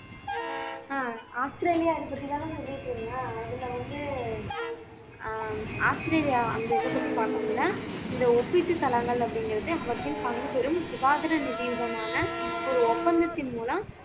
ஆஹ் Australia அதுல வந்து ஆஹ் ஆஸ்திரேலியா அந்த இதைப் பத்தி பார்க்க முடியலை இந்த ஒப்பீட்டுத் தளங்கள் அப்படிங்கிறது அவற்றின் பங்குபெறும் சுகாதார நிதியுதமான ஒரு ஒப்பந்தத்தின் மூலம்